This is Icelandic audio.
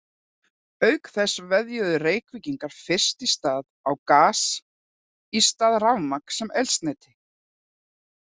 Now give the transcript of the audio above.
Auk þess veðjuðu Reykvíkingar fyrst í stað á gas í stað rafmagns sem eldsneyti.